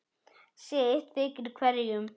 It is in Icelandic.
sitt þykir hverjum